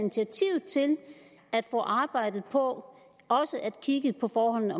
arbejde på også at kigge på forholdene